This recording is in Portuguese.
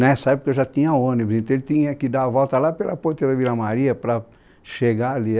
Nessa época já tinha ônibus, então ele tinha que dar a volta lá pela ponte da Vila Maria para chegar ali.